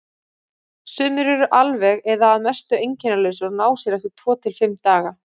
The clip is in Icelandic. Sumir eru alveg eða að mestu einkennalausir og ná sér eftir tvo til fimm daga.